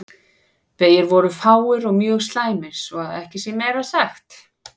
Vegir voru fáir og mjög slæmir svo að ekki sé meira sagt.